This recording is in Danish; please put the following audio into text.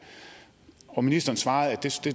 og ministeren svarede at